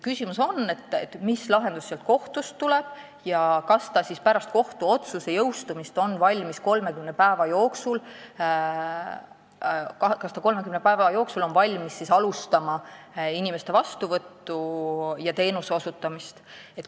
Küsimus on selles, mis lahendus kohtust tuleb ja kas ta on pärast kohtuotsuse jõustumist 30 päeva jooksul valmis alustama inimeste vastuvõttu ja teenuse osutamist.